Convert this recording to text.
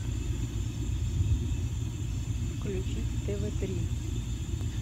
включить тв три